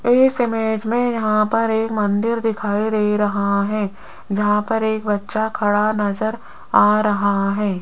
इस इमेज में यहां पर एक मंदिर दिखाई दे रहा है जहां पर एक बच्चा खड़ा नजर आ रहा है।